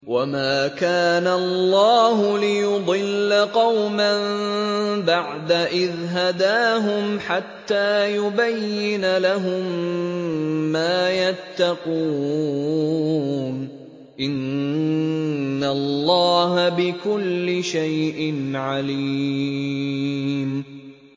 وَمَا كَانَ اللَّهُ لِيُضِلَّ قَوْمًا بَعْدَ إِذْ هَدَاهُمْ حَتَّىٰ يُبَيِّنَ لَهُم مَّا يَتَّقُونَ ۚ إِنَّ اللَّهَ بِكُلِّ شَيْءٍ عَلِيمٌ